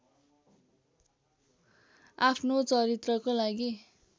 आफ्नो चरित्रको लागि